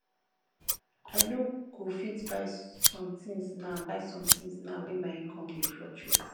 i no go fit buy sometins now buy sometins now wey my income dey fluctuate